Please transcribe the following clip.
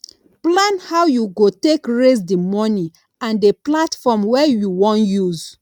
plan how you go take raise the money and the platform wey you wan use